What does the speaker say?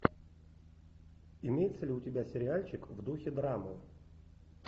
имеется ли у тебя сериальчик в духе драмы